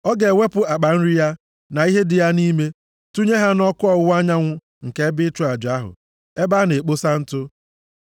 Ọ ga-ewepụ akpa nri ya, na ihe dị ya nʼime, tụnye ha nʼakụkụ ọwụwa anyanwụ nke ebe ịchụ aja ahụ; ebe a na-ekposa ntụ.